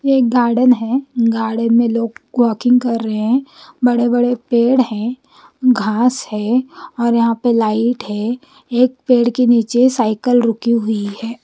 ये एक गार्डन है गार्डन में लोग वोकिंग कर रहे है बड़े बड़े पेड़ है घास है और यहा पे लाइट है एक पेड़ के निचे साईकल रुकी हुई है।